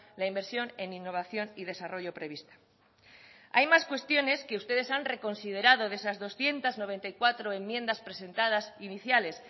la inversión en innovación y desarrollo prevista hay más cuestiones que ustedes han reconsiderado de esas doscientos noventa y cuatro enmiendas presentadas iniciales